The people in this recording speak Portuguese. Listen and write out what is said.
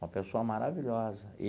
Uma pessoa maravilhosa.